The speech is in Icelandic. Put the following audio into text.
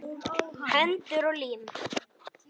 Hendur og lim.